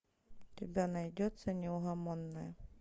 у тебя найдется неугомонная